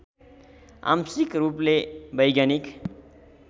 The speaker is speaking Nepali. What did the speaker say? आंशिक रूपले वैज्ञानिक